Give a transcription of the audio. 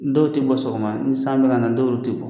Dɔw ti bɔ sɔgɔma, ni san bɛ kana dɔw ti bɔ.